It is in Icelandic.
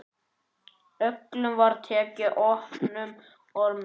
Öllum var tekið opnum örmum.